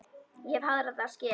Ég hef harða skel.